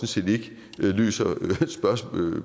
set ikke løser